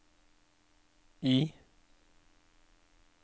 I